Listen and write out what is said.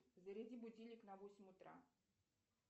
заряди будильник на восемь утра